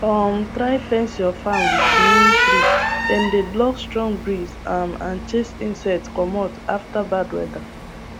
try fence your farm with neem treedem dey block strong breeze um and chase insect commot after bad weather